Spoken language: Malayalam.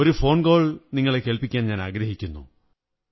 ഒരു ഫോൺ കോൾ നിങ്ങളെ കേള്പ്പി ക്കാനാഗ്രഹിക്കുന്നു